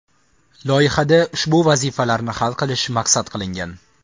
Loyihada ushbu vazifalarni hal qilish maqsad qilingan.